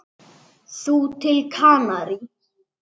Þú til Kanarí?